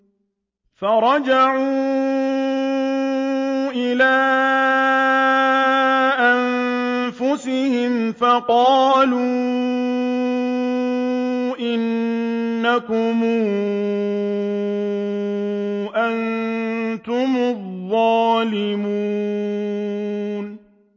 فَرَجَعُوا إِلَىٰ أَنفُسِهِمْ فَقَالُوا إِنَّكُمْ أَنتُمُ الظَّالِمُونَ